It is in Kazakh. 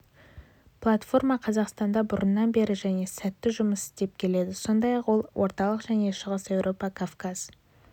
польфарма қазақстанда бұрыннан бері және сәтті жұмыс істеп келеді сондай-ақ ол орталық және шығыс еуропа кавказ